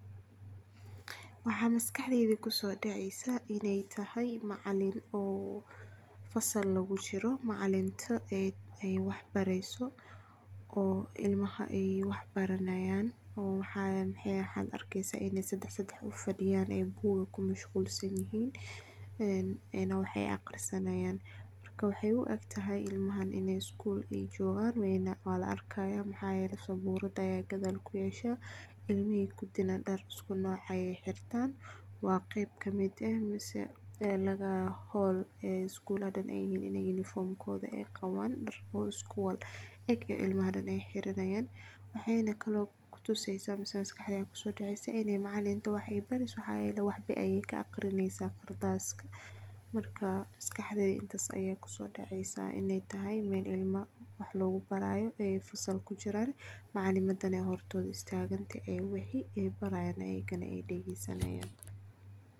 Waxaa maskaxdeyda kusodacdeysa in ee tahay macalin fasal lagu jiro ee wax bareyso oo ilmaha wax ee baranayin maxaad arkeysa in ee sadax sadax u fadiyan ee mashqulsan yihin ee wax ayey aqrisani hayan markaailmahan in ee isgul jogan waa la arki haya saburada aya gadal kuyasha ilmihi kudina dar iskunoc ayey xirtan waa qeyb kamiid ah masalada hol ee isguladha uniform kodha ee qawan iskuwadha eg oo ilmaha dan ee xiranayin, maxaa kalo maskaxdadha kuso dacaya on ee tahay macalimada qardas ayey wax ka aqrineysa, marka maskaxdadha intas aya kusodaceysa in ee tahay meel ilma wax lagu barayo macalimaadana ee hortodha tagantahay wax muhiim ayey baranayin ayagana.